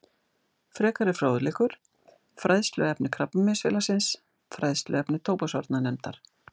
Frekari fróðleikur: Fræðsluefni Krabbameinsfélagsins Fræðsluefni tóbaksvarnarnefndar